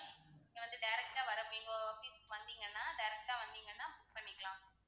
இங்க வந்து direct ஆ வரணும் இப்போ பாத்திங்கன்னா, direct ஆ வந்தீங்கன்னா book பண்ணிக்கலாம்.